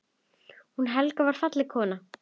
Hún Helga var falleg kona.